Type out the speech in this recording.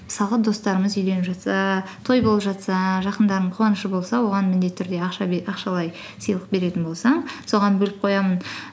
мысалға достарымыз үйленіп жатса той болып жатса жақындарымның қуанышы болса оған міндетті түрде ақшалай сыйлық беретін болсаң соған бөліп қоямын